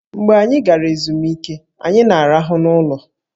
Mgbe anyị gara ezumike, anyị na-arahụ n'ụlọ